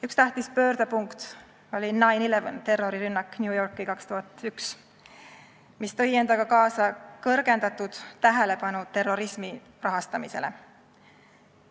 Üks tähtis pöördepunkt oli 9/11 terrorirünnak New Yorgis 2001, mis tõi endaga kaasa kõrgendatud tähelepanu terrorismi rahastamisele.